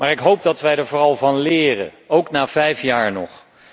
Ik hoop dat wij er vooral van leren, ook na vijf jaar nog.